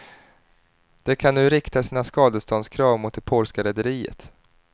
De kan nu rikta sina skadeståndskrav mot det polska rederiet.